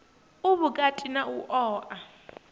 u vhukati na u oa